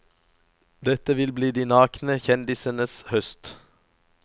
Dette vil bli de nakne kjendisenes høst.